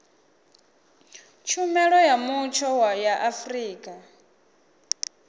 tshumelo ya mutsho ya afrika